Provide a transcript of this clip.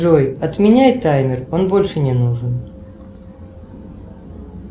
джой отменяй таймер он больше не нужен